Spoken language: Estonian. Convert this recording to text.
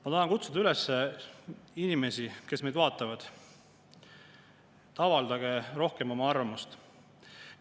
Ma tahan kutsuda üles inimesi, kes meid vaatavad: avaldage rohkem oma arvamust!